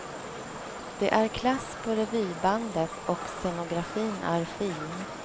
Det är klass på revybandet och scenografin är fin.